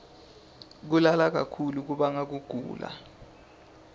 kulala kakhulu kubanga kugula